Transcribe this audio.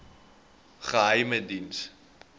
geheimediens